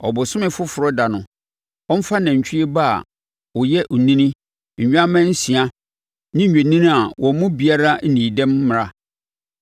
Ɔbosome Foforɔ ɛda no, ɔmfa nantwie ba a ɔyɛ ɔnini, nnwammaa nsia ne nnwennini a wɔn mu biara nnii dɛm mmra.